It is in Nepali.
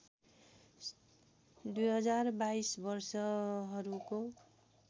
२०२२ वर्षहरूको